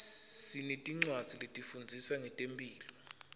sinetincwadzi letifundzisa ngetemphilo